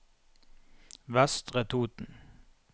Vestre Toten